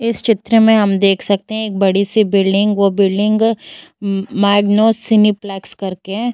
इस चित्र मे हम देख सकते हैं एक बड़ी सी बिल्डिंग । वो बिल्डिंग माईगनों सिनेपलक्स करके है।